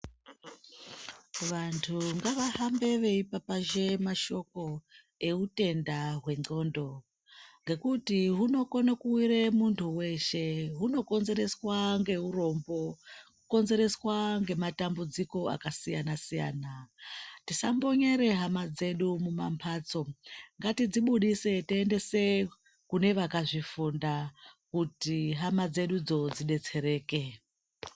Vantu ngavahambe veipapazhe mashoko eutenda hwendxondo ngekuti hunokone kuwire muntu weshe hinokonzereswa ngeurombo kukonzereswa ngematambudziko akasiyana siyana, tisambonyere hama dzedu mumambatso ngatidzibudise toendese kune vakazvifunda kuti hama dzedudzo dzidetsereke.